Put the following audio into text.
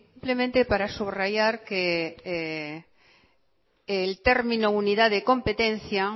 simplemente para subrayar que el término unidad de competencia